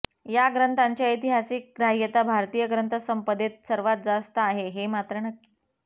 या ग्रंथाची ऐतिहासिक ग्राह्यता भारतीय ग्रंथसंपदेत सर्वात जास्त आहे हे मात्र नक्की